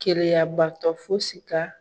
Keleya baatɔ fosi ka